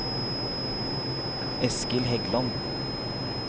Eskild Heggland